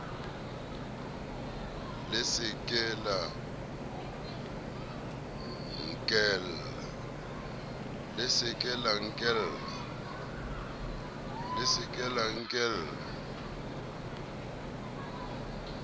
le se ke la nkella